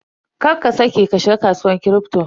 Kar ka saƙe ka shiga kasuwar Kripto.